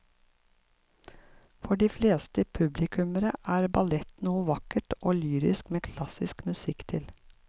For de fleste publikummere er ballett noe vakkert og lyrisk med klassisk musikk til.